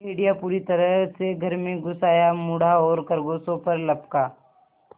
भेड़िया पूरी तरह से घर में घुस आया मुड़ा और खरगोशों पर लपका